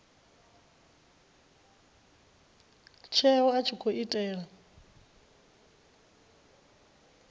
tsheo a tshi khou itela